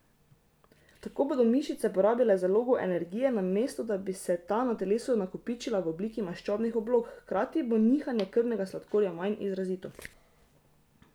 Tako bodo mišice porabile zalogo energije, namesto da bi se ta na telesu nakopičila v obliki maščobnih oblog, hkrati bo nihanje krvnega sladkorja manj izrazito.